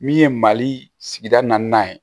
Min ye mali sigida naaninan ye